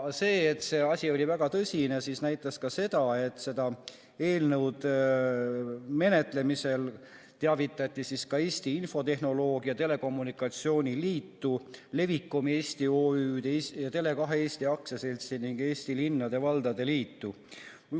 Seda, et see asi oli väga tõsine, näitas ka see, et selle eelnõu menetlemisest teavitati ka Eesti Infotehnoloogia ja Telekommunikatsiooni Liitu, Levikom Eesti OÜ-d ja Tele2 Eesti AS-i ning Eesti Linnade ja Valdade Liitu.